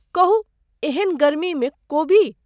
कहू एहन गर्मीमे ...कोबी।